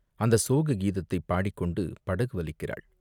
அந்தச் சோக கீதத்தைப் பாடிக்கொண்டு படகு வலிக்கிறாள்!